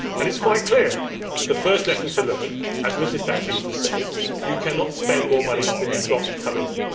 It is quite clear the first lesson to learn, as Mrs Thatcher used to say, is that you cannot spend more money than you have got coming in.